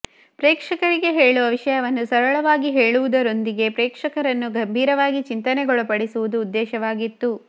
ಪ್ರೇಕ್ಷಕರಿಗೆ ಹೇಳುವ ವಿಷಯವನ್ನು ಸರಳವಾಗಿ ಹೇಳುವುದರೊಂದಿಗೆ ಪ್ರೇಕ್ಷಕರನ್ನು ಗಂಭೀರವಾಗಿ ಚಿಂತನೆಗೊಳಪಡಿಸುವುದು ಉದ್ದೇಶವಾಗಿತ್ತು